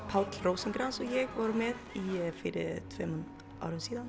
Páll Rósinkranz vorum með fyrir tveimur árum síðan